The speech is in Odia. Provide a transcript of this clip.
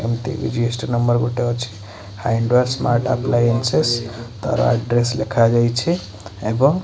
ଏମିତି ବି ଜିଏଷ୍ଟି ନମ୍ୱର୍ ଗୋଟେ ଅଛି ହାଇଣ୍ଡୱାସ୍ ସ୍ମାର୍ଟ ଆପ୍ଲାଏ ଇନସେସ୍ ତାର ଆଡ୍ରେସ୍ ଲେଖାଯାଇଛି ଏବଂ।